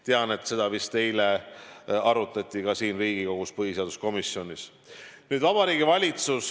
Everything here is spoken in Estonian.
Tean, et seda vist eile arutati ka Riigikogu põhiseaduskomisjonis.